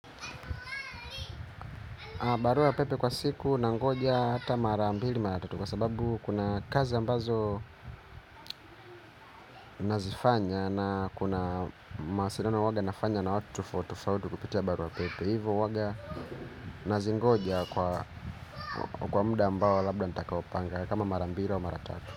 Barua pepe kwa siku nangoja hata mara mbili mara tatu kwa sababu kuna kazi ambazo nazifanya na kuna mawasiliano waga nafanya na watu tofauti tofauti kupitia barua pepe. Hivo waga nazingoja kwa mda ambao labda natakaopanga kama mara mbili au mara tatu.